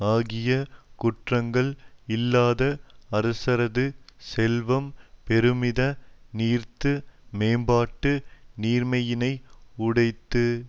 ஆகிய குற்றங்கள் இல்லாத அரசரது செல்வம் பெருமித நீர்த்து மேம்பாட்டு நீர்மையினை உடைத்து